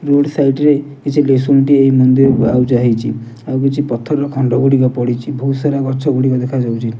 Road side କିଛି ଲିଶୁଣିଟିଏ ଏଇ ମନ୍ଦିରକୁ ଆଉଜା ହେଇଚି। ଆଉ କିଛି ପଥରର ଖଣ୍ଡ ଗୁଡ଼ିକ ପଡ଼ିଚି। ବୋହୁତ ସାରା ଗଛ ଗୁଡ଼ିକ ଦେଖାଯାଉଚି।